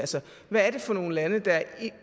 hvad er det for nogle lande der er